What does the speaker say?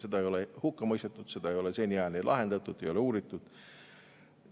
Seda ei ole hukka mõistetud, seda ei ole seniajani lahendatud, ei ole uuritud.